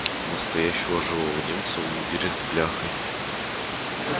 настоящего живого немца в мундире с бляхой